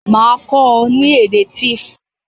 Màá kó o ni èdè Tiv